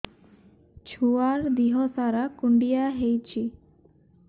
ଛୁଆର୍ ଦିହ ସାରା କୁଣ୍ଡିଆ ହେଇଚି